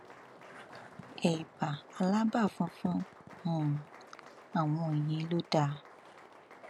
ẹbá alábà fùfù um àwọn ìyẹn ló dáa